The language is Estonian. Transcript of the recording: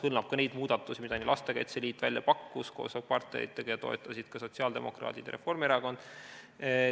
Hõlmab ka neid muudatusi, mida Lastekaitse Liit välja pakkus koos partneritega ja mida toetasid ka sotsiaaldemokraadid ja Reformierakond.